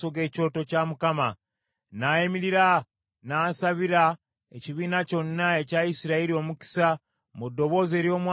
N’ayimirira n’asabira ekibiina kyonna ekya Isirayiri omukisa mu ddoboozi ery’omwanguka ng’agamba nti,